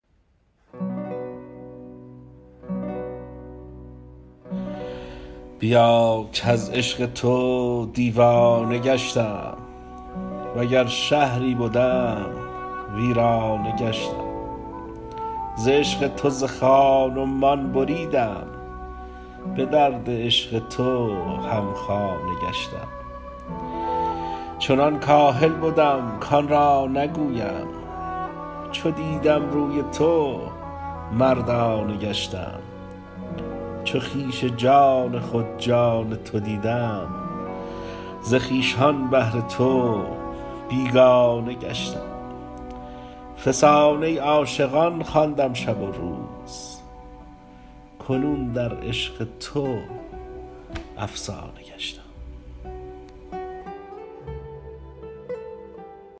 بیا کز عشق تو دیوانه گشتم وگر شهری بدم ویرانه گشتم ز عشق تو ز خان و مان بریدم به درد عشق تو همخانه گشتم چنان کاهل بدم کان را نگویم چو دیدم روی تو مردانه گشتم چو خویش جان خود جان تو دیدم ز خویشان بهر تو بیگانه گشتم فسانه عاشقان خواندم شب و روز کنون در عشق تو افسانه گشتم